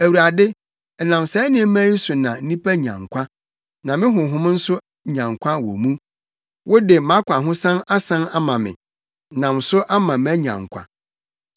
Awurade, ɛnam saa nneɛma yi so na nnipa nya nkwa na me honhom nso nya nkwa wɔ mu. Wode mʼakwahosan asan ama me nam so ama manya nkwa.